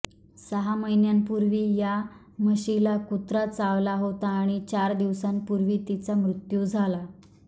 सहा महिन्यांपूर्वी या म्हशीला कुत्रा चावला होता आणि चार दिवसांपूर्वी तिचा मृत्यू झाला